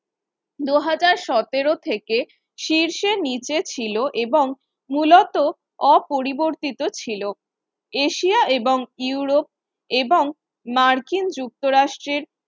দুহাজার সতের থেকে শীর্ষের নিচে ছিল এবং মূলত অপরিবর্তিত ছিল এশিয়া এবং ইউরোপ এবং মার্কিন যুক্তরাষ্ট্রের